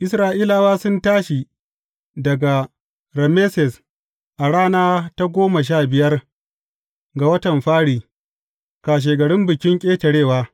Isra’ilawa sun tashi daga Rameses a rana ta goma sha biyar, ga watan fari, kashegarin Bikin Ƙetarewa.